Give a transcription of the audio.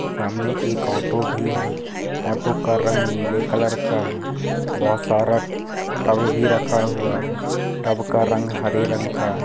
सामने एक ऑटो भी है ऑटो का रंग नीले कलर का है बहुत सारे टब भी रखा हुआ है टब का रंग हरे रंग का है।